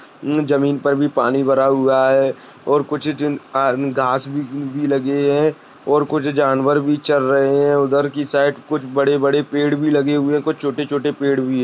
जमीन पर भी पानी भरा हुआ है और कुछ घा घास भी लगी हुए है और कुछ जानवर भी चर रहे है उधर की साइड कुछ बड़े बड़े पेढ भी लगे हुए है कूछ छोटे छोटे पेढ भी है।